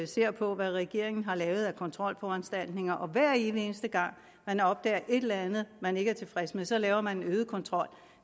ser på hvad regeringen har lavet af kontrolforanstaltninger hver evig eneste gang man opdager et eller andet man ikke er tilfreds med så laver man en øget kontrol